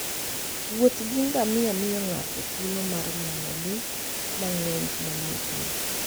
Wuoth gi ngamia miyo ng'ato thuolo mar neno le mang'eny manie thim.